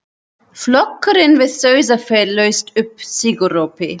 Flokkurinn við Sauðafell laust upp sigurópi.